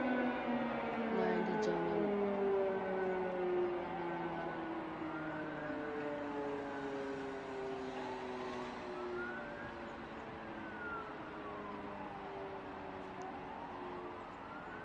Maandi jemano, sare nyibiga hawa didi koh tati, be glad windo be dammude, paiti mai mil kolor. Sare mai vodi